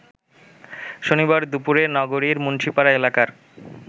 শনিবার দুপুরে নগরীর মুন্সীপাড়া এলাকার